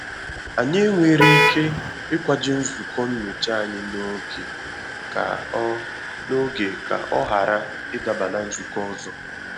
Anyị ewere ike ikwaje nzukọ nnyocha anyị n'oge ka ọ n'oge ka ọ ghara ị daba na nzukọ ọzọ?